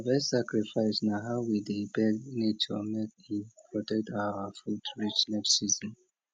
harvest sacrifice na how we dey beg nature make e protect our food reach next season